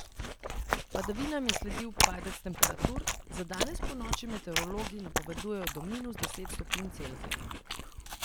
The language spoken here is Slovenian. Padavinam je sledil padec temperatur, za danes ponoči meteorologi napovedujejo do minus deset stopinj Celzija.